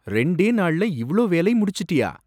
ரெண்டே நாள்ல இவ்ளோ வேலை முடிச்சிட்டியா?